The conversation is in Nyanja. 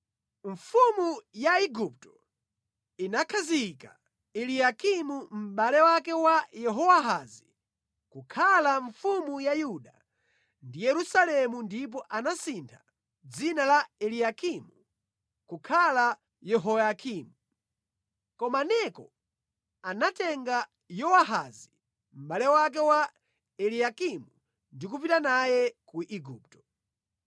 Mfumu ya Igupto inakhazika Eliyakimu, mʼbale wake wa Yehowahazi kukhala mfumu ya Yuda ndi Yerusalemu ndipo anasintha dzina la Eliyakimu kukhala Yehoyakimu. Koma Neko anatenga Yowahazi mʼbale wake wa Eliyakimu ndi kupita naye ku Igupto.